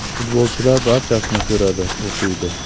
Futbolchilar barchasini ko‘radi, o‘qiydi.